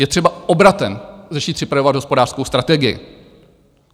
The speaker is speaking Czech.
Je třeba obratem začít připravovat hospodářskou strategii.